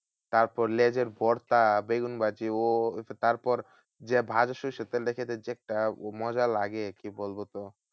তারপর লেজের ভর্তা বেগুন ভাজি ও তারপর যে ভালো সর্ষের তেলটা খেতে যে একটা মজা লাগে, কি বলতো তোমায়?